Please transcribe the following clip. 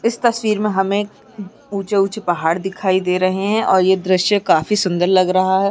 इस तस्वीर हमें ऊंचे-ऊंचे पहाड़ दिखाई दे रहें हैं और ये द्रिश्य काफी सुंदर लग रहा है।